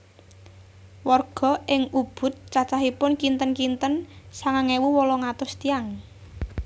Warga ing Ubud cacahipun kinten kinten sangang ewu wolung atus tiyang